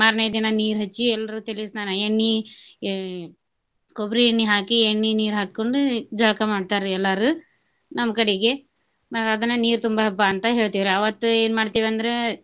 ಮಾರ್ನೆ ದಿನಾ ನೀರ ಹಚ್ಚಿ ಎಲ್ರೂ ತಲೆ ಸ್ನಾನಾ ಎಣ್ಣಿ ಆಹ್ ಕೊಬ್ರಿ ಎಣ್ಣಿ ಹಾಕಿ ಎಣ್ಣಿ ನೀರ ಹಾಕೊಂಡು ಜಳ್ಕ ಮಾಡ್ತಾರಿ ಎಲ್ಲಾರು ನಮ್ಮ ಕಡಿಗೆ ನಾವ ಅದನ್ನ ನೀರ ತುಂಬೊ ಹಬ್ಬ ಅಂತ ಹೇಳ್ತೀವ್ರಿ. ಅವತ್ತ ಏನ ಮಾಡ್ತೀವ ಅಂದ್ರ.